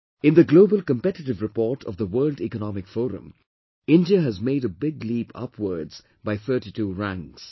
In the Global Competitive Report of the World Economic Forum, India has made a big leap upwards by 32 ranks